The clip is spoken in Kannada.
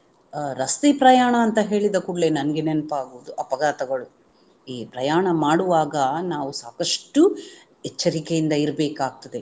ಅಹ್ ರಸ್ತೆ ಪ್ರಯಾಣ ಅಂತ ಹೇಳಿದ ಕೂಡಲೇ ನನಗೆ ನೆನಪಾಗುವುದು ಅಪಘಾತಗಳು. ಈ ಪ್ರಯಾಣ ಮಾಡುವಾಗ ನಾವು ಸಾಕಷ್ಟು ಎಚ್ಚರಿಕೆಯಿಂದ ಇರ್ಬೇಕಾಗ್ತದೆ